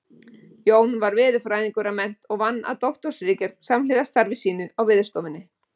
Jón var veðurfræðingur að mennt og vann að doktorsritgerð samhliða starfi sínu á Veðurstofunni.